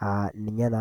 aa ninye naa.